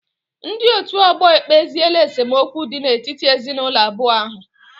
Ndị otu ọgbọ ekpeziela esemokwu dị n'etiti ezinaụlọ abụọ ahụ